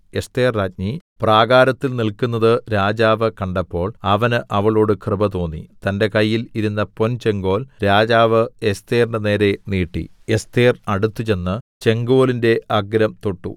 എസ്ഥേർരാജ്ഞി പ്രാകാരത്തിൽ നില്ക്കുന്നത് രാജാവ് കണ്ടപ്പോൾ അവന് അവളോട് കൃപ തോന്നി തന്റെ കയ്യിൽ ഇരുന്ന പൊൻചെങ്കോൽ രാജാവ് എസ്ഥേറിന്റെ നേരെ നീട്ടി എസ്ഥേർ അടുത്തുചെന്ന് ചെങ്കോലിന്റെ അഗ്രം തൊട്ടു